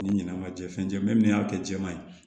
Ni ɲinɛ ma jɛn fɛn caman min y'a kɛ jɛman ye